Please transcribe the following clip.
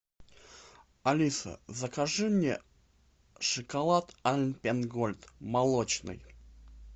алиса закажи мне шоколад альпен гольд молочный